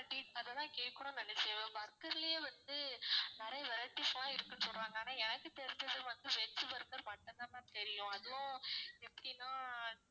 cake~ அதை தான் நான் கேக்கணும்னு நினைச்சேன் burger லயே வந்து நிறைய vareities லா இருக்குன்னு சொல்றாங்க ஆனா எனக்கு தெரிஞ்சது வந்து veg burger மட்டும் தான் ma'am தெரியும் அதுவும் எப்படின்னா